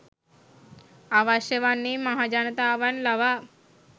අවශ්‍ය වන්නේ මහජනතාවන් ලවා